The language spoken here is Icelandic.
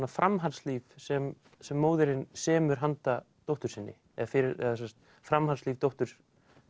framhaldslíf sem sem móðirin semur handa dóttur sinni eða framhaldslíf dóttur